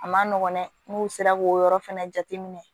A ma nɔgɔn dɛ n'u sera k'o yɔrɔ fɛnɛ jateminɛ